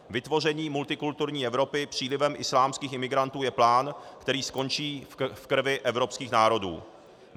Vytvoření multikulturní Evropy přílivem islámských imigrantů je plán, který skončí v krvi evropských národů.